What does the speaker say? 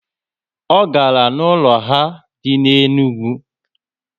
O gara na ụlọ ha dị na Enugwu